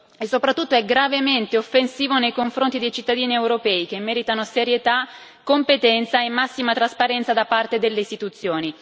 e soprattutto è gravemente offensivo nei confronti dei cittadini europei, che meritano serietà, competenza e massima trasparenza da parte delle istituzioni.